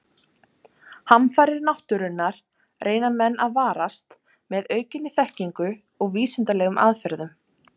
Hamfarir náttúrunnar reyna menn að varast með aukinni þekkingu og vísindalegum aðferðum.